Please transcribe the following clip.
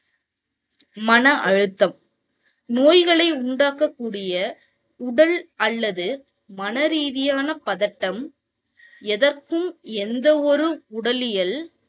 மன அழுத்தம். நோய்களை உண்டாக்கக்கூடிய உடல் அல்லது மன ரீதியான பதட்டம், எதற்கும் எந்த ஒரு உடலியல்